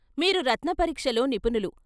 మీరు రత్న పరీక్షలో నిపుణులు.